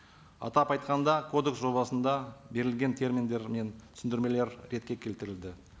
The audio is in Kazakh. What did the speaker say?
атап айтқанда кодекс жобасында берілген терминдер мен түсіндірмелер ретке келтірілді